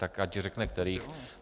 Tak ať řekne kterých.